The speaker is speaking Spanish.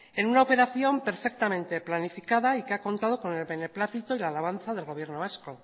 en una operación perfectamente planificada y que ha contado con el beneplácito y la alabanza del gobierno vasco